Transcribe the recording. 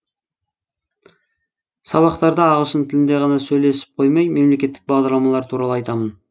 сабақтарда ағылшын тілінде ғана сөйлесіп қоймай мемлекеттік бағдарламалар туралы айтамын